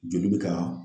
Joli bɛ ka